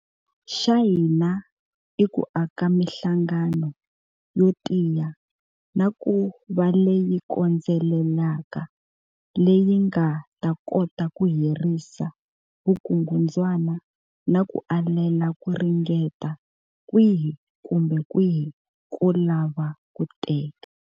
Xa hina i ku aka mihlangano yo tiya na ku va leyi kondzelelaka leyi nga ta kota ku herisa vukungundzwana na ku alela ku ringeta kwihi kumbe kwihi ko lava ku teka.